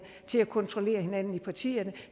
til at kontrollere hinanden i partierne